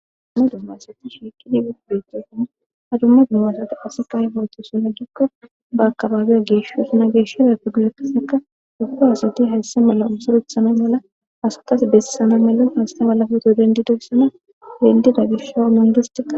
ammado maysati shiiqi digef behtefana ha dumma dumaasati ase kayfotho suna jikko ba akabaaboy geesho sna geesho repiglekaseka dufa asati hayssa mala umsoruthana mala asakas bessana malon hasta malafeto dendidoyssona dendida gisho mongistia